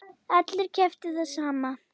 Allir keyptu það sama.